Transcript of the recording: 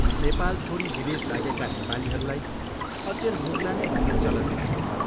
नेपाल छोडी विदेश लागेका नेपालीहरूलाई अचेल मुगलाने भन्ने चलन उठेको छ